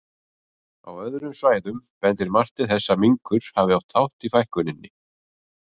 Á öðrum svæðum bendir margt til þess að minkur hafi átt þátt í fækkuninni.